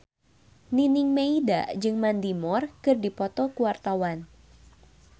Nining Meida jeung Mandy Moore keur dipoto ku wartawan